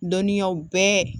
Dɔnniyaw bɛɛ